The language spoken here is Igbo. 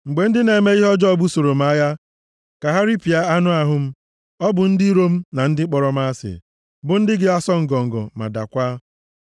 Mgbe ndị na-eme ihe ọjọọ busoro m agha ka ha ripịa anụ ahụ m, ọ bụ ndị iro m na ndị kpọrọ m asị, bụ ndị ga-asọ ngọngọ ma dakwaa.